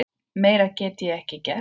Meira get ég ekki gert.